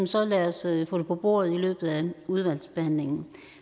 så lad os få det på bordet i løbet af udvalgsbehandlingen